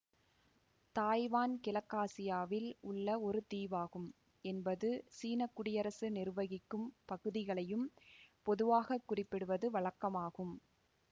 Taiwan கிழக்காசியாவில் உள்ள ஒரு தீவாகும் என்பது சீன குடியரசு நிர்வகிக்கும் பகுதிகளையும் பொதுவாக குறிப்பிடுவது வழக்கமாகும்